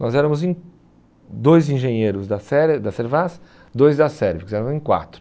Nós éramos em dois engenheiros da da Servaz, dois da Sérvia, porque nós éramos em quatro.